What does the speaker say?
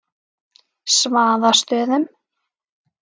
Svaðastöðum